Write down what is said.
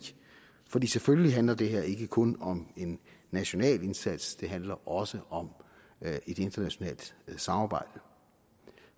for selvfølgelig handler det her ikke kun om en national indsats det handler også om et internationalt samarbejde